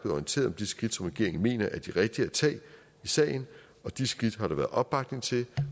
orienteret om de skridt som regeringen mener er de rigtige at tage i sagen og de skridt har der været opbakning til